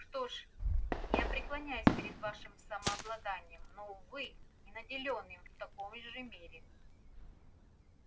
что ж я преклоняюсь перед вашим самообладанием но увы не наделён им в такой же мере